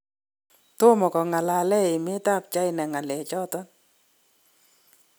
tomo kongalalen emet ab China ngalek choton